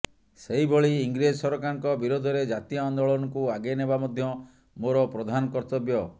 ସେହିଭଳି ଇଂରେଜ ସରକାରଙ୍କ ବିରୋଧରେ ଜାତୀୟ ଆନ୍ଦୋଳନକୁ ଆଗେଇ ନେବା ମଧ୍ୟ ମୋର ପ୍ରଧାନ କର୍ତ୍ତବ୍ୟ